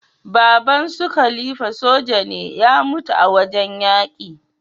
Baban sun khalifa soja ne ya mutu a wajan yaki